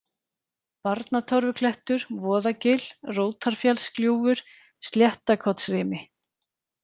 Barnatorfuklettur, Voðagil, Rótarfjallsgljúfur, Sléttakotsrimi